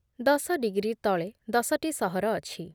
ଦଶ ଡିଗ୍ରୀ ତଳେ ଦଶ ଟି ସହର ଅଛି